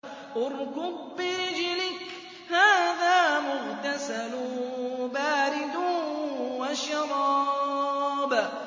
ارْكُضْ بِرِجْلِكَ ۖ هَٰذَا مُغْتَسَلٌ بَارِدٌ وَشَرَابٌ